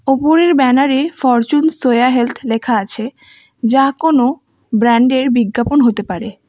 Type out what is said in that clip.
উপরের ব্যানারে Fortune soya health লেখা আছে যা কোনও ব্রান্ডের বিজ্ঞাপন হতে পারে।